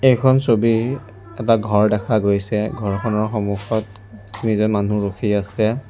এইখন ছবি এটা ঘৰ ৰখা গৈছে ঘৰখনৰ সন্মুখত তিনিজন মানুহ ৰখি আছে।